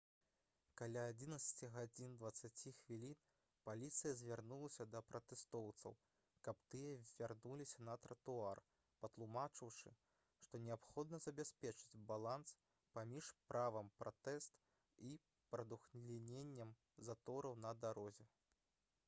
каля 11:20 паліцыя звярнулася да пратэстоўцаў каб тыя вярнуліся на тратуар патлумачыўшы што неабходна забяспечыць баланс паміж правам пратэст і прадухіленнем затораў на дарозе